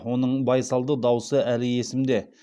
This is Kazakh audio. оның байсалды дауысы әлі есімде